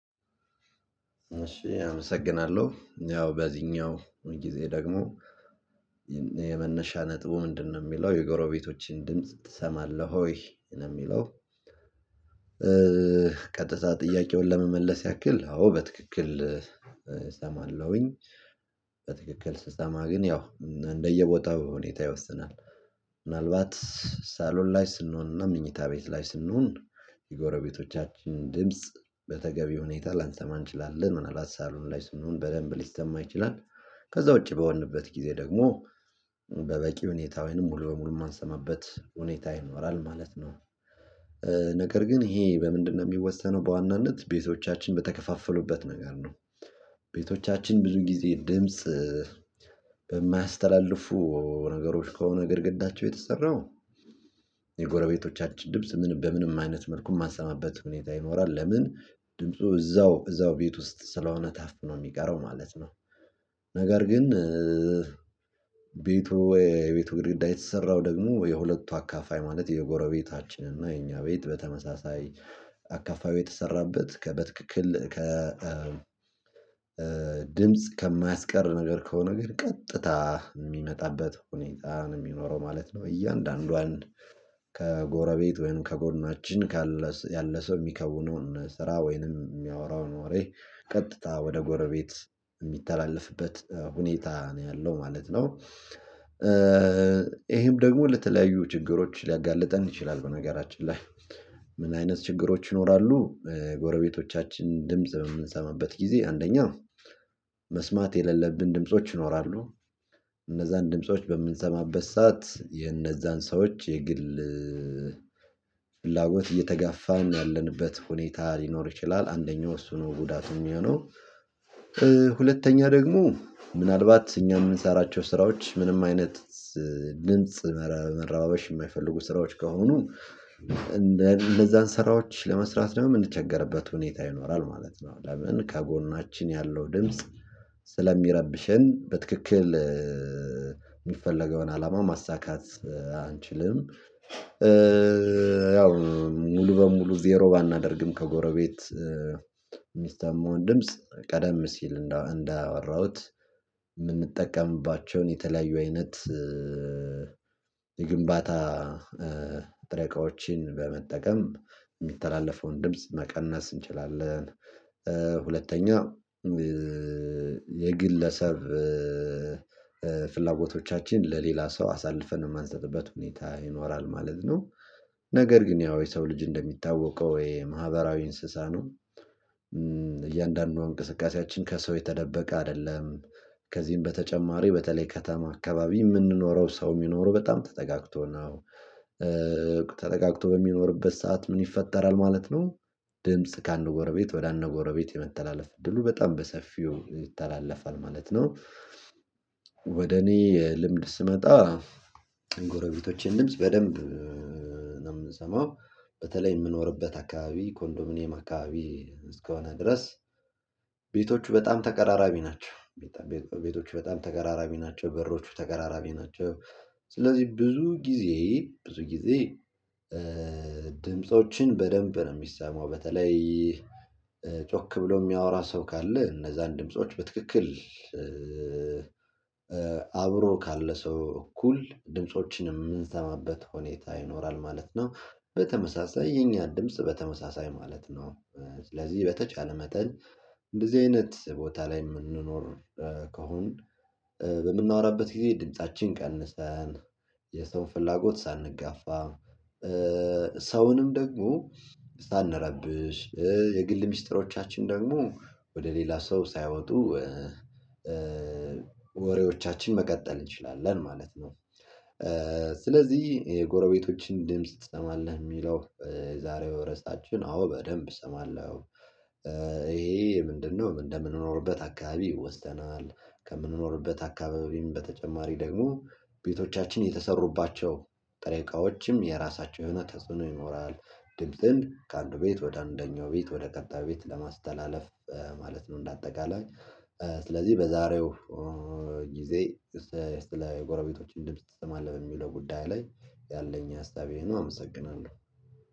እሺ አመሰግናለሁ ያው በዚኛው ጊዜ ደግሞ የመነሻ ነጥቡ ምንድነው ሚለው የጎረቤቶችን ድምጽ ትሰማለህ ወይ ነው ሚለው? ጥያቄውን ለመመለስ ያክል አዎ በትክክል እሰማለሁኝ። ስሰማ ግን ያው እንደየ ቦታው ሁኔታ ይወስናል። ምናልባት ሳሎን ላይ ስንሆንና ምኞታ ቤት ላይ ስንሆን የጎረቤቶቻችን ድምጽ በተገቢ ሁኔታ ላንተማ እንችላለን ምን አላባት ሳሎን ላይ ስንሆን በደንብ ሊሰማ ይችላል። ከዛ ውጪ በሆንበት ጊዜ ደግሞ በበቂ ሁኔታ ወይንም ሙሉ በሙሉ ማንሰማበት ሁኔታ ይኖራል ማለት ነው። ነገር ግን ይሄ በምንድነው? ሚወሰነው በዋናነት ቤቶቻችን በተከፋፈሉበት ነገር ነው። ቤቶቻችን ብዙ ጊዜ ድምጽ በማያስተላልፉ ነገሮች ከሆነ ግድግዳቸው የተሰራው የጎረቤቶቻችን ድምጽ በምንም አይነት መልኩ ማሰማበት ሁኔታ ይኖራል ለምን ድምፁ እዛው እዛው ቤት ውስጥ ስለሆነ ታፍነው ሚቀረው ማለት ነው። ነገር ግን ቤቱ ወይ የቤቱ ግድግዳ የተሰራው ደግሞ የሁለቱ አካፋይ ማለት የጎረቤታችን እና የኛ ቤት በተመሳሳይ አካፍዩ የተሰራበት ከ በትክክል ከ ድምጽ ከማያስቀር ነገር ከሆነ ነገር ግን ቀጥታ እሚመጣበት ሁኔታ ሚኖረው ማለት ነው። እያንዳንዷን ከ ጎረቤት ወይንም ከጎናችን ያለ ሰው ሚከውነውን ስራ ወይንም ሚያወራውን ወሬ ቀጥታ ወደ ጎረቤት እሚተላለፍበት ሁኔታ ነው ያለው ማለት ነው። ደግሞ ለተለያዩ ችግሮች ሊያጋልጠን ይችላል። በነገራችን ላይ ምን አይነት ችግሮች ይኖራሉ? ጎረቤቶቻችን ድምጽ በምንሰማበት ጊዜ አንደኛው መስማት የሌለብን ድምጾች ይኖራሉ። እነዛን ድምጾች በምንሰማበት ሰዓት የነዛን ሰዎች የግል ፍላጎት እየተጋፋን ያለንበት ሁኔታ ሊኖር ይችላል። አንደኛው እሱ ነው ጉዳት እሚሆነው። ሁለተኛ ደግሞ ምናልባት እኛ ምንሰራቸው ስራዎች ምንም አይነት ድምጽ መረባበሽ እማይፈልጉ ስራዎች ከሆኑ ነው እንደነዛን ስራዎች ለመስራት ደግሞ ምንቸገርበት ሁኔታ ይኖራል ማለት ነው። ለምን ከጎናችን ያለው ድምጽ ስለሚረብሽን በትክክል ሚፈለገውን አላማ ማሳካት አንችልም። ያው ሙሉ በሙሉ ዜሮ ባናደርግም ከጎረቤት ሚስማውን ድምጽ ቀደም ሲል እንዳወራሁት ምንጠቀምባቸውን የተለያዩ አይነት የግንባታ ጥሬ እቃዎችን በመጠቀም ሚተላለፈውን ድምጽ መቀነስ እንችላለን። ሁለተኛ የግለሰብ ፍላጎቶቻችን ለሌላ ሰው አሳልፈን እማሰጥበት ሁኔታ ይኖራል ማለት ነው። ነገር ግን ያው የሰው ልጅ እንደሚታወቀው ወይ ማህበራዊ እንስሳ ነው። እያንዳንዱ እንቅስቃሴያችን ከሰው የተደበቀ አደለም። ከዚህም በተጨማሪ በተለይ ከተማ አካባቢ ምንኖረው ሰው ሚኖረው በጣም ተጠጋግቶ ነው። ተጠጋግቶ በሚኖርበት ሰዓት ምን ይፈጠራል ማለት ነው። ድምጽ ከአንድ ጎረቤት ወደ አንድ ጎረቤት የመተላለፍ እድሉ በጣም በሰፊው ይተላለፋል ማለት ነው። ወደ እኔ ልምድ ስመጣ የጎረቤቶቼን ድምጽ በደንብ ምንሰማው በተለይ ምኖርበት አካባቢ ኮንዶሚኒየም አካባቢ እስከሆነ ድረስ በጣም ተቀራራቢ ናቸው። ቤቶቹ በጣም ተቀራራቢ ናቸው በሮቹ ተቀራራቢ ናቸው። ስለዚህ ብዙ ጊዜ ብዙ ጊዜ ድምፆችን በደንብ ነው ሚሰማው በተለይ ጮክ ብሎ ሚያወራ ሰው ካለ እነዛን ድምጾች በትክክል አብሮ ካለ ሰው እኩል ድምጾችንም ምንሰማበት ሁኔታ ይኖራል ማለት ነው። በተመሳሳይ የኛን ድምጽ በተመሳሳይ ማለት ነው። ስለዚህ በተቻለ መጠን እንደዚህ አይነት ቦታ ላይ ምንኖር ከሆን በምናወራበት ጊዜ ድምፃችን ቀንሰን የሰው ፍላጎት ሳንጋፋ ሰውንም ደግሞ ሳንረብሽ የግል ሚስጥሮቻችን ደግሞ ወደ ሌላ ሰው ሳይወጡ ወሬዎቻችን መቀጠል እንችላለን ማለት ነው። ስለዚህ የጎረቤቶችን ድምጽ ትሰማለህ? ሚለው የዛሬው ርዕሳችን አዎ በደንብ እሰማለሁ። እሄ ምንድነው እንደምንኖርበት አካባቢ ይወስናል። ከምንኖርበት አካባቢም በተጨማሪ ደግሞ ቤቶቻችን የተሰሩባቸው ጥሬ እቃዎችም የራሳቸው የሆነ ተጽዕኖ ይኖራል። ድምጽን ከአንድ ቤት ወደ አንደኛው ቤት ወደ ቀጣይ ቤት ለማስተላለፍ ማለት ነው እንዳጠቃላይ። ስለዚህ በዛሬው ጊዜ ስለ ጎረቤቶችን ድምጽ ትሰማለህ በሚለው ጉዳይ ላይ ያለኝ ሀሳብ ይህ ነው። አመሰግናለሁ።